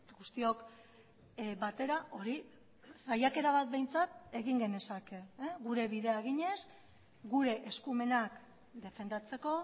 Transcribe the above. guztiok batera hori saiakera bat behintzat egin genezake gure bidea eginez gure eskumenak defendatzeko